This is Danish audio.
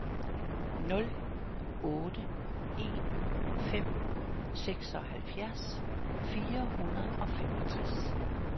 nul otte en fem seksoghalvfjerds fire hundrede og femogtres